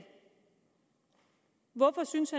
hvorfor synes